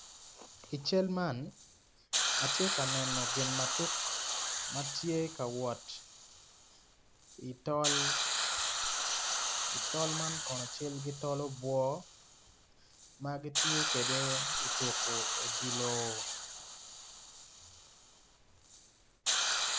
I cal man atye ka neno gin ma tuk ma tye ka wot i tol tol man kono cal ki tol obwo ma gitiyo kwede ituko odilo.